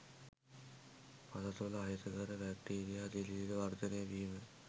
පස තුළ අහිතකර බැක්ටීරියා දිලීර වර්ධනය වීම